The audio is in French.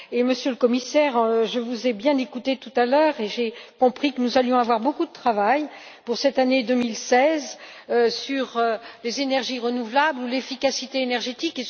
Monsieur le Commissaire, je vous ai bien écouté tout à l'heure et j'ai compris que nous allions avoir beaucoup de travail en 2016 sur les énergies renouvelables ou l'efficacité énergétique.